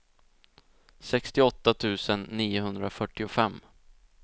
sextioåtta tusen niohundrafyrtiofem